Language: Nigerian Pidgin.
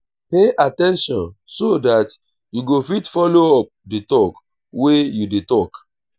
pay at ten tion so dat you go fit follow up di talk wey you dey talk